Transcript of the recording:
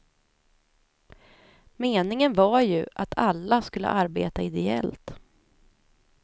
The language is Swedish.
Meningen var ju att alla skulle arbeta ideellt.